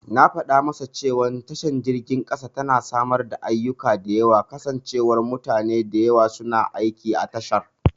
Na fada masa cewa tashar jirgin kasa tana samar da ayyika kasancewar mutane da yawa suna aiki a tashar.